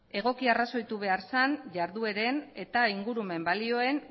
egoki arrazoitu behar zen jardueren eta ingurumen balioen